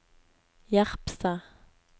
Jerpstad